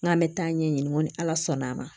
N k'an bɛ taa ɲɛɲini ko ni ala sɔnn'a ma